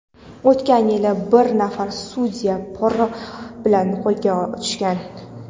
o‘tgan yili bir nafar sudya pora bilan qo‘lga tushgan.